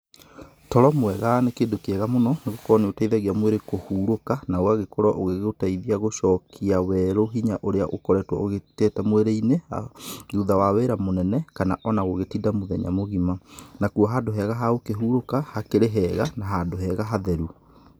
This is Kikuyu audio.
Toro mwega nĩ kĩndũ kĩega mũno nĩ gũkorwo nĩ ũteithagia mwĩrĩ kũhurũka na ũgagĩkorwo ũgĩ gũteithia gũcokia werũ hinya ũrĩa ũkoretwo ũgĩtete mwĩrĩ-inĩ, thutha wa wĩra mũnene kana ona gũgĩtinda mũthenya mũgĩma. Nakuo handũ hega ha gũkũhurũka hakĩrĩ hega na handũ hega hatheru.